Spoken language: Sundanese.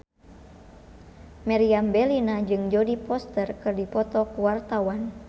Meriam Bellina jeung Jodie Foster keur dipoto ku wartawan